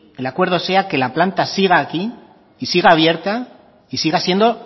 el acuerdo sea que la planta siga aquí y siga abierta y siga siendo